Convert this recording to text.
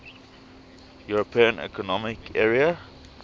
european economic area